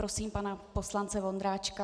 Prosím pana poslance Vondráčka.